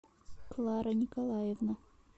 клара николаевна